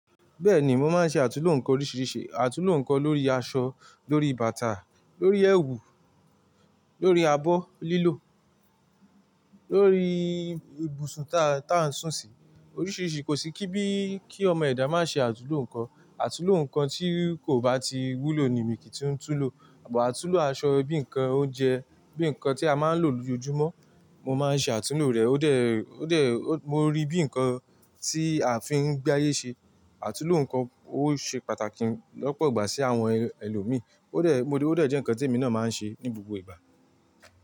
Bẹ́ẹ̀ni, mo máa ń ṣe àtulò ǹkan oríṣiríṣi. Àtulò ǹkan lórí aṣọ, lórí bàtà, lórí ẹwù, lórí abọ́ lílò, lórí ibùsùn ta n-tà ń sùn sí. Oríṣiríṣi, kò sí kí bí kí ọmọ ẹ̀dá má ṣe àtulò ǹkan. Àtulò ǹkan tí kò bá ti wúlò ni mi kì í tún tún lò. Àtunlò aṣọ bí ǹkan oúnjẹ, bí ǹkan tí a máa ń lò lójoojúmọ́, mo máa ń ṣe àtunlò rẹ̀. Ó dẹ̀, ó dẹ̀, mo rí bí ǹkan tí a fi ń gbé ayé ṣe. Àtulò ǹkan ó ṣe pàtàkì lọ́pọ̀ ìgbà sí àwọn ẹlòmíì. Ó dẹ̀, mo rí, ó dẹ̀ jẹ́ ǹkan tí èmi náà má ń ṣe ní gbogbo ìgbà.